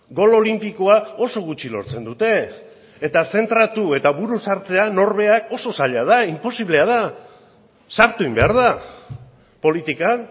gol olinpikoa oso gutxi lortzen dute eta zentratu eta buru sartzean norberak oso zaila da inposiblea da sartu egin behar da politikan